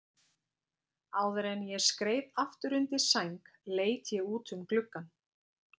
Áður en ég skreið aftur undir sæng leit ég út um gluggann.